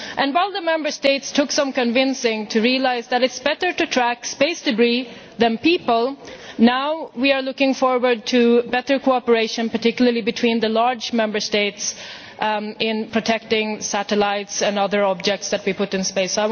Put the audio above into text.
While the Member States took some convincing to realise that it is better to track space debris than people, we are now looking forward to better cooperation particularly between the large Member States in protecting satellites and other objects that we put in space.